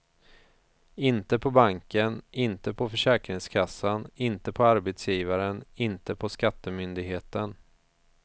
Inte på banken, inte på försäkringskassan, inte på arbetsgivaren, inte på skattemyndigheten.